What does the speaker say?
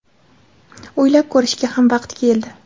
o‘ylab ko‘rishga ham vaqt keldi.